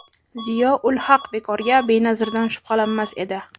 Ziyo ul-Haq bekorga Benazirdan shubhalanmas edi.